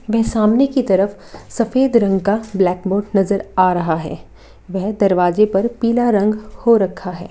यहाँ सामने की तरफ सफेद रंग का ब्लैक बोर्ड नजर आ रहा है वह दरवाजे पर पीला रंग हो रखा है।